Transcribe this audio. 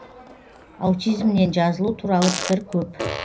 аутизмнен жазылу туралы пікір көп